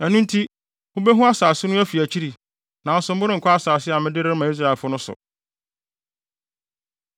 Ɛno nti, mubehu asase no afi akyiri, nanso morenkɔ asase a mede rema Israelfo no so.”